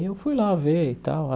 E eu fui lá ver e tal.